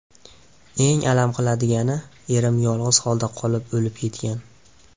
Eng alam qiladigani, erim yolg‘iz holda qolib o‘lib ketgan.